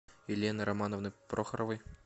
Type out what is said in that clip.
елены романовны прохоровой